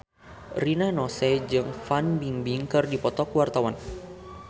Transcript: Rina Nose jeung Fan Bingbing keur dipoto ku wartawan